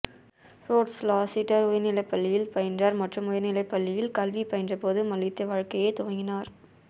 roads Lassiter உயர்நிலைப் பள்ளியில் பயின்றார் மற்றும் உயர்நிலைப் பள்ளியில் கல்வி பயின்ற போது மல்யுத்த வாழ்க்கையைத் துவங்கினார்